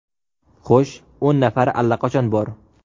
Xo‘sh, o‘n nafari allaqachon bor.